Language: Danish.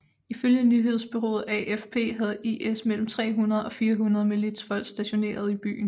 Ifølge nyhedsbureauet AFP havde IS mellem 300 og 400 militsfolk stationerede i byen